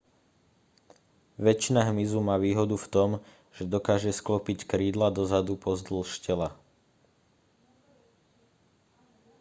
väčšina hmyzu má výhodu v tom že dokáže sklopiť krídla dozadu pozdĺž tela